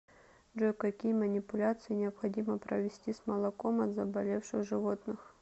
джой какие манипуляции необходимо провести с молоком от заболевших животных